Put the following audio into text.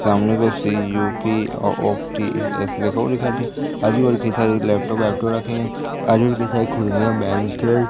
सामने को सी_यु_पी ऑ ऑप्टि ऐसे लिखा आजूबाजू की सारी लैपटॉप लैपटॉप रखे हैं। आजूबाजू की सारी कुर्सियां बेंच --